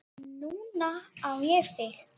Núna á ég þig.